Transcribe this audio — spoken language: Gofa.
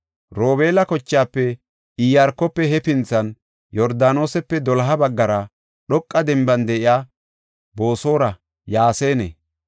Robeela kochaafe Iyaarkofe hefinthan Yordaanosepe doloha baggara, dhoqa denban de7iya Boosora, Yaasane,